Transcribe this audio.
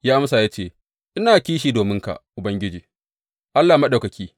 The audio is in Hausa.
Ya amsa, ya ce, Ina kishi dominka Ubangiji, Allah Maɗaukaki.